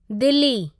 Delhi